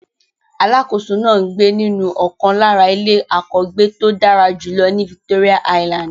Alákòóso náà ń gbé nínú ọ̀kan lára ilé àkọ́gbéto dára jùlọ ní Victoria island.